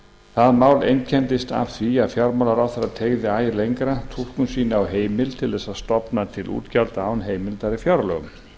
það mál einkenndist af því að fjármálaráðherra teygði æ lengra túlkun sína á heimild til þess að stofna til útgjalda án heimildar í fjárlögum